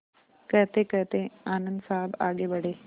कहतेकहते आनन्द साहब आगे बढ़े